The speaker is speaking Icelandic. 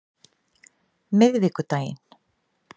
miðvikudaginn